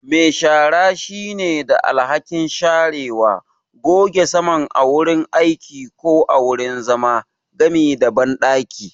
Me shara shine da alhakin sharewa, goge saman a wurin aiki ko wurin zama, gami da banɗaki.